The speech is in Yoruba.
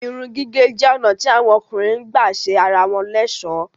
Èrùn-gígẹ̀ jẹ́ onà tí awọn ọ̀kùnrin gbà sẹ ara wọn l'ẹ̀sọ́.